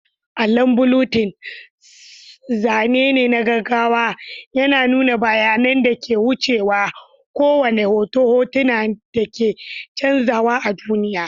Allon bulletin, zane na gaggawa, yana nuna bayanan da ke wucewa, kowane hoton hoton da ke canzawa a duniya.